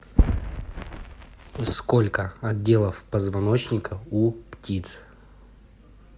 сколько отделов позвоночника у птиц